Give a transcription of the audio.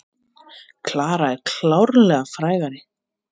Klara er klárlega frægari.